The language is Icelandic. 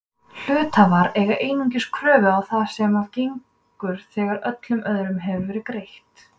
Hluthafar eiga einungis kröfu á það sem af gengur þegar öllum öðrum hefur verið greitt.